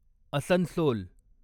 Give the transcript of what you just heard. Asansol